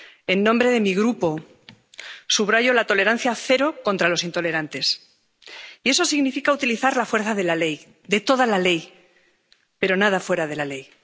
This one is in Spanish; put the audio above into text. En nombre de mi Grupo, subrayo la tolerancia cero contra los intolerantes, y eso significa utilizar la fuerza de la ley, de toda la ley, pero nada fuera de la ley